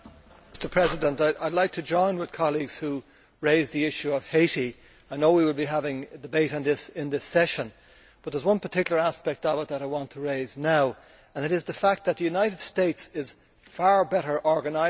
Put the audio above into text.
Mr President, I would like to join with colleagues who raised the issue of Haiti. I know we will be having a debate on this during the part session but there is one particular aspect I want to raise now and it is the fact that the United States is far better organised.